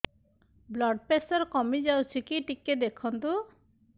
blood pressure କମି ଯାଉଛି କି ଟିକେ ଦେଖନ୍ତୁ